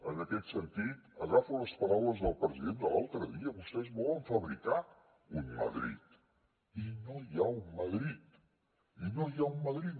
en aquest sentit agafo les paraules del president de l’altre dia vostès volen fabricar un madrid i no hi ha un madrid i no hi ha un madrid